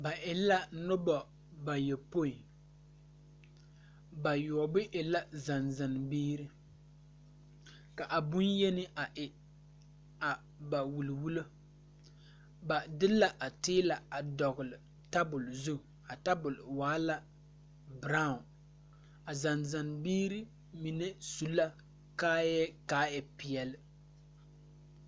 Ba e la nobɔ bayopoi bayoɔbo e la zan zan biire ka a bonyeni a e a ba wulli wullo ba de la a tiila a dɔgle tabole zu a tabole waa la braawn a zan zan biire mine su la kaayɛɛ kaa e peɛle.